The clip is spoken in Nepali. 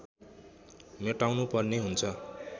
मेटाउनुपर्ने हुन्छ